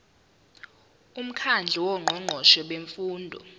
umkhandlu wongqongqoshe bemfundo